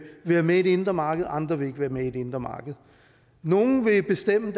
være med i det indre marked andre vil ikke være med i det indre marked nogle vil bestemme